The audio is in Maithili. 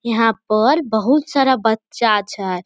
यहां पर बहुत सारा बच्चा छै।